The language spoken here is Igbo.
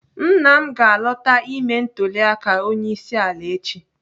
Nna m ga-alọta ime ntụliaka onyeisi ala echi.